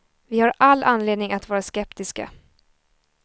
Vi har all anledning att vara skeptiska.